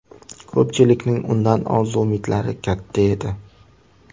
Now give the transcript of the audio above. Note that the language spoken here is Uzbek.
Ko‘pchilikning undan orzu-umidlari katta edi.